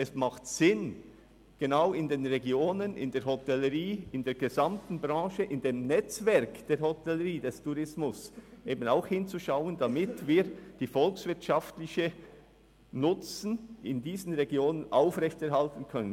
Es macht Sinn, in den Regionen die Hotellerie und ihr Branchennetzwerk genau zu untersuchen, damit wir den volkswirtschaftlichen Nutzen in diesen Regionen aufrechterhalten können.